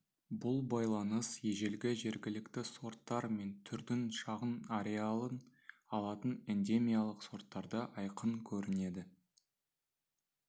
бұл байланыс ежелгі жергілікті сорттар мен түрдің шағын ареалын алатын эндемиялық сорттарда айқын көрінеді